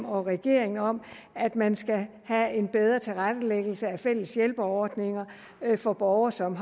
og regeringen om at man skal have en bedre tilrettelæggelse af fælles hjælpeordninger for borgere som